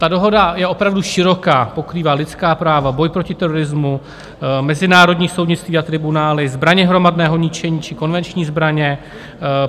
Ta dohoda je opravdu široká, pokrývá lidská práva, boj proti terorismu, mezinárodní soudnictví a tribunály, zbraně hromadného ničení či konvenční zbraně.